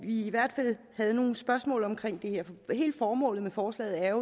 vi i hvert fald havde nogle spørgsmål omkring det her hele formålet med forslaget er